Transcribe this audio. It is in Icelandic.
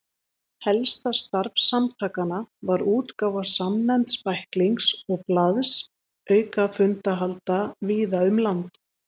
Helsta starf samtakanna var útgáfa samnefnds bæklings og blaðs auka fundahalda víða um land.